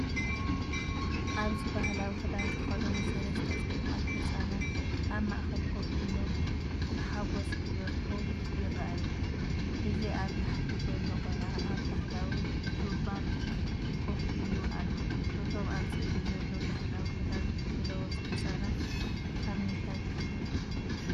ኣብዚ ባህላዊ ክዳን ዝተኸድኑ ሰለስተ ጽቡቓት ህጻናት ኣብ ማእከል ኮፍ ኢሎም ብሓጎስ ክበርሁ ይረኣዩ። እዚ ኣብ ታሕቲ ዘሎ ቆልዓ ኣብ ባህላዊ ቱርባን ኮፍ ኢሉ ኣሎ። እቶም ኣብ ስእሊ ዘሎ ባህላዊ ክዳን ዝለበሱ ህጻናት ካብ ምንታይ ክልል እዮም?